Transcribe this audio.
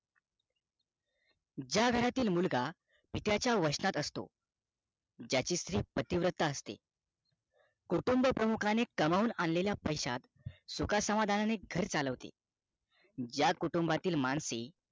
ज्या घरातील मुलगा पित्याचा वचनात असतो त्या स्त्री पतीव्रता असते कुटुंब प्रमुखाने कमावून आन लेल्याला पैशात सुख समाधानाने घर चालवते त्या कुटूंबातील माणसे